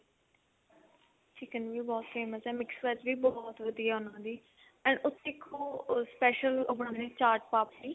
chicken ਵੀ ਬਹੁਤ ਵਧੀਆ mix veg ਵੀ ਬਹੁਤ ਵਧੀਆ ਉਹਨਾ ਦੀ ਉੱਥੇ ਇੱਕ ਉਹ ਬਣਾਉਦੇ ਨੇ special ਚਾਟ ਪਾਪੜੀ